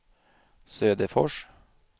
Söderfors